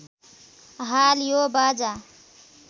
हाल यो बाजा